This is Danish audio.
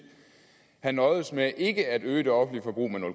have nøjedes med ikke at øge det offentlige forbrug med